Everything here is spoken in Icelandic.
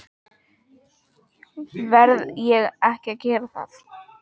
Verð ég ekki að gera það?